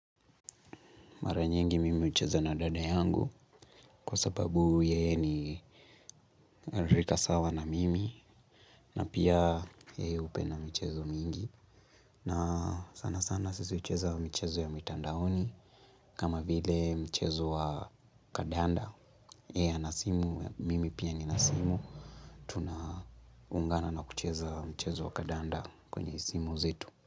Mara nyingi mimi hucheza na dada yangu kwa sababu yeye ni rika sawa na mimi na pia yeye hupenda michezo mingi na sana sana sisi hucheza michezo ya mitandaoni kama vile mchezo wa kandanda yeye ana simu mimi pia nina simu tunaungana na kucheza mchezo wa kandanda kwenye simu zetu.